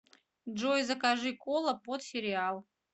джой закажи кола под сериал